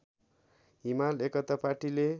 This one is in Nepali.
हिमाल एकता पाटीले